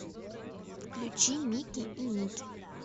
включи мики и ники